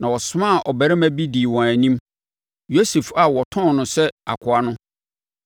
na ɔsomaa ɔbarima bi dii wɔn anim, Yosef a wɔtɔn no sɛ akoa no.